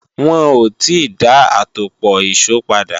Wọn ò ti dá àtòpọ̀ ìṣó padà